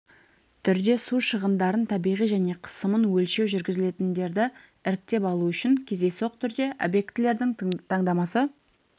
түрде су шығындарын табиғи және қысымын өлшеу жүргізілетіндерді іріктеп алу үшін кездейсоқ түрде объектілердің таңдамасы